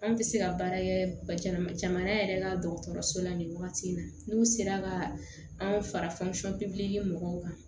Anw tɛ se ka baara kɛ jamana yɛrɛ ka dɔgɔtɔrɔso la nin wagati in na n'u sera ka anw fara mɔgɔw kan